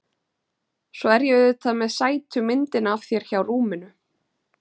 Svo er ég auðvitað með sætu myndina af þér hjá rúminu.